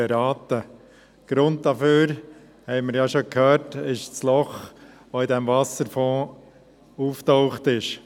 Wie wir bereits gehört haben, ist ja der Grund dafür das Loch, das im Wasserfonds aufgetaucht ist.